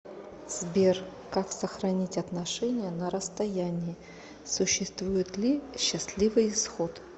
сбер как сохранить отношения на расстоянии существует ли счастливый исход